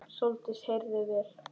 Sóldís heyrði vel.